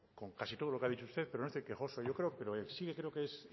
con casi todo lo que ha dicho usted pero no estoy quejoso yo creo que lo es sí que creo que es